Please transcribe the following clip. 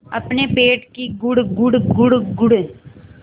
अपने पेट की गुड़गुड़ गुड़गुड़